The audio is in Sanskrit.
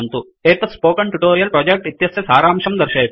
एतत् स्पोकन ट्युटोरियल प्रोजेक्ट इत्यस्य सारांशं दर्शयति